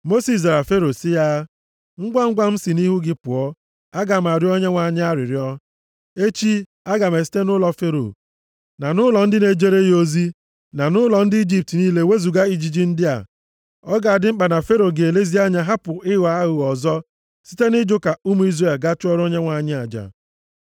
Mosis zara Fero sị ya, “Ngwangwa m si nʼihu gị pụọ, aga m arịọ Onyenwe anyị arịrịọ. Echi, a ga-esite nʼụlọ Fero, na nʼụlọ ndị na-ejere ya ozi, na nʼụlọ ndị Ijipt niile wezuga ijiji ndị a. Ọ ga-adị mkpa na Fero ga-elezi anya hapụ ịghọ aghụghọ ọzọ site ịjụ ka ụmụ Izrel gaa chụọrọ Onyenwe anyị aja.”